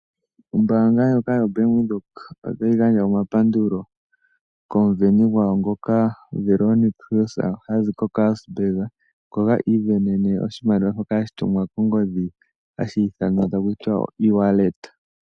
Ombaanga ndjoka yoBank Windhoek otayi gandja omapandulo komusindani gwayo ngoka hi ithanwa Veronica Hill hazi koKarasburg, ngoka isindanene oshimaliwa shoka hashi tumwa kongodhi hashi ithanwa Easy wallet .